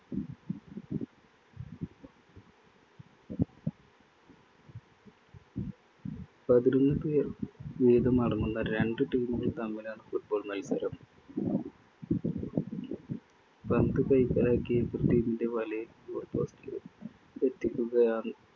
പതിനൊന്നു പേർ വീതമടങ്ങുന്ന രണ്ടു team കള്‍ തമ്മിലാണ്‌ football മത്സരം. പന്ത് കൈക്കലാക്കി എതിർ team ന്‍റെ വലയില്‍ goal post ൽ എത്തിക്കുകയാണ്